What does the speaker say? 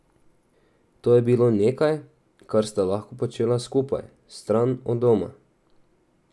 To je bilo nekaj, kar sta lahko počela skupaj, stran od doma.